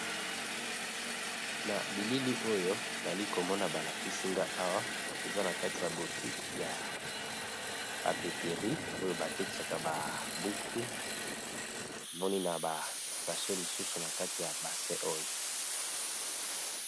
Na bilili oyo nali komona balakisi nga awa eza na kati ya boutique ya papeterie oyo batekisaka ba buku namoni na ba sashe misusu na kati ya base oyo.